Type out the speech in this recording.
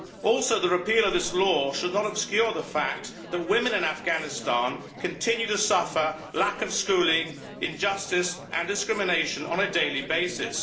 Also the repeal of this law should not obscure the fact that women in Afghanistan continue to suffer lack of schooling, injustice and discrimination on a daily basis.